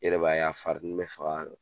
Yɛrɛ b'a ye, a farinin be faga